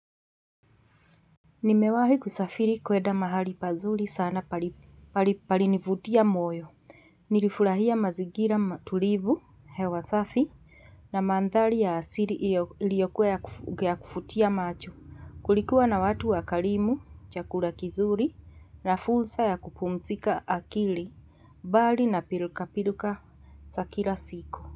Nimewahi kusafiri kwenda mahali pazuri sana palinivutia moyo. Nilifurahia mazingira matulivu, hewa safi, na mandhari ya asili iliyokuwa ya kuvutia macho. Kulikuwa na watu wakarimu, chakura kizuri, na fursa ya kupumzika akili, bali na pilkapilka za kila siku.